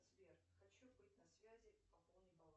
сбер хочу быть на связи пополни баланс